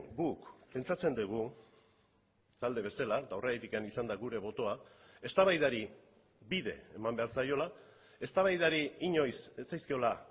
guk pentsatzen dugu talde bezala eta horregatik izan da gure botoa eztabaidari bide eman behar zaiola eztabaidari inoiz ez zaizkiola